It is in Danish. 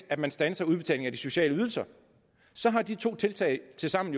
at man standser udbetaling af de sociale ydelser så har de to tiltag tilsammen